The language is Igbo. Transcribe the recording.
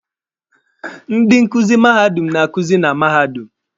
Ndị nkuzi mahadum na-akuzi na mahadum.